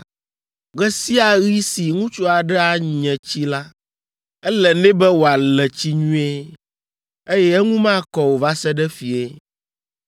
“ ‘Ɣe sia ɣi si ŋutsu aɖe anye tsi la, ele nɛ be wòale tsi nyuie, eye eŋu makɔ o va se ɖe fiẽ.